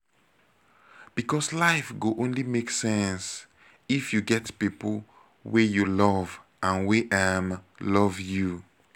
becos life go only make sense if you get pipo wey you love and wey um love you